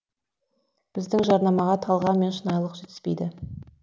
біздің жарнамаға талғам мен шынайылық жетіспейді